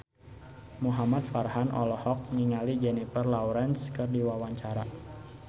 Muhamad Farhan olohok ningali Jennifer Lawrence keur diwawancara